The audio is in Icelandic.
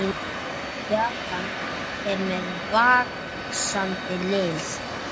Japan er með vaxandi lið.